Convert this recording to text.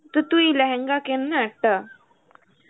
তো তুই লেহেঙ্গা কেননা একটা.